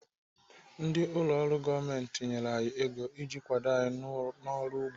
Ndị ụlọ ọrụ gọọmenti nyere anyị ego iji kwado anyị n'ọrụ ugbo.